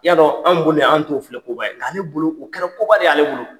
I y'a dɔn an bolo yan an t'o filɛ koba ye. Nk'ale bolo o kɛra koba de ye ale bolo.